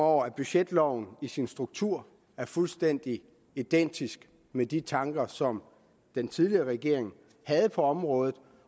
over at budgetloven i sin struktur er fuldstændig identisk med de tanker som den tidligere regering havde på området